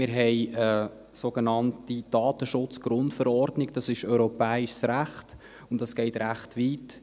Wir haben eine sogenannte EU-Datenschutz-Grundverordnung (EU-DSGVO), das ist europäisches Recht, und dieses geht recht weit.